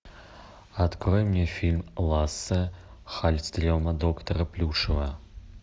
открой мне фильм ласса хальстрема доктора плюшева